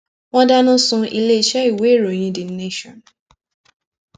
wọn dáná sun iléeṣẹ ìwé ìròyìn the nation